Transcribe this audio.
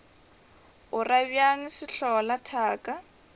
o ra bjang sehlola thaka